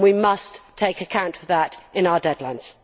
We must take account of that in our deadlines.